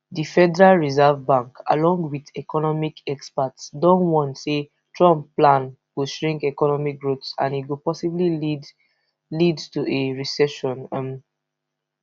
di federal reserve bank along wit economic experts don warn say trump plan go shrink economic growth and e go possibly lead lead to a recession um